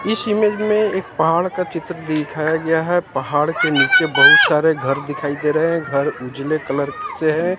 इस इमेज में एक पहाड़ का चित्र दिखाया गया है पहाड़ के नीचे बहुत सारे घर दिखाई दे रहे हैं घर उजाले कलर से है।